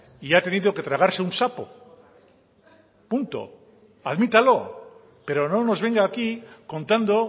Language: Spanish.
y ha tenido que tragarse un sapo punto admítalo pero no nos venga aquí contando